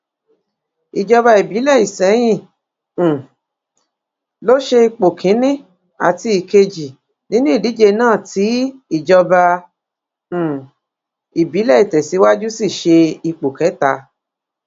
ìjọba ìbílẹ isẹyìn um ló ṣe ipò kìnínní àti ìkejì nínú ìdíje náà tí ìjọba um ìbílẹ ìtẹsíwájú sì ṣe ipò kẹta